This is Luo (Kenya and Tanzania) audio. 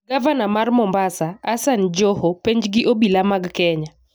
Gavana mar Mombasa, Hassan Joho, penj gi obila mag kenya